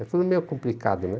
É tudo meio complicado, né?